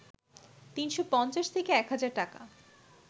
৩৫০ থেকে ১ হাজার টাকা